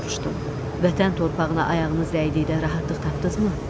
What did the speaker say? Vətən torpağına ayağınız dəydikdə rahatlıq tapdınızmı?